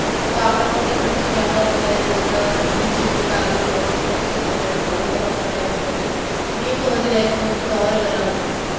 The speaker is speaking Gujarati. એ તો આપડા ઉપર depend છે કે અપડે આપડી life કેવી રીતે જીવવી છે કેવી રીતે આગળ process કરવી છે follow કરવા છે કેવા નિયમ છે નિયમ તો પછી રહેશે જેમ કે સવારે વેહલા ઉઠવું.